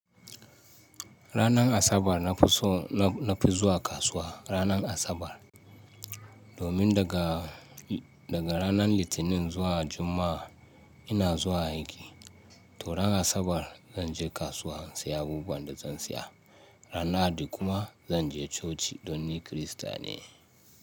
Ranar Asabar na fi so, na fi zuwa kasuwa ranar Asabar. Domin daga, daga ranar Litinin zuwa Juma'a ina zuwa aiki. To ranar Asabar zan je kasuwa in saya abubuwan da zan saya. Ranar Lahadi kuma zan je coci don ni Kirista ne.